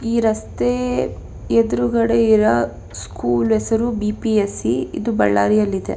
ಈ ರಸ್ತೆ ಎದುರುಗಡೆ ಇರುವ ಸ್ಕೂಲ್ ನ ಹೆಸರು ಬಿ.ಪಿ.ಎಸ್.ಇ. ಇದು ಬಳ್ಳಾರಿಯಲ್ಲಿದೆ.